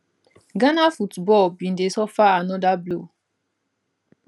ghana football bin dey suffer anoda blow